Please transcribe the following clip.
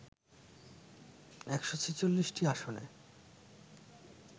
১৪৬টি আসনে